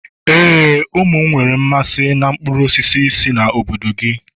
éè, ụmụ m nwere mmasị na mkpụrụ sitere na obodo gị.